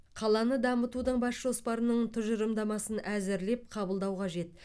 қаланы дамытудың бас жоспарының тұжырымдамасын әзірлеп қабылдау қажет